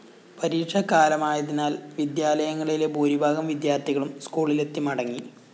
പരീക്ഷാകാലമായതിനാല്‍ വിദ്യാലയങ്ങളിലെ ഭൂരിഭാഗം വിദ്യാര്‍ത്ഥികളും സ്‌കൂളിലെത്തി മടങ്ങി